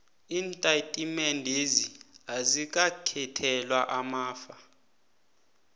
iintatimendezi azikakhethelwa amafa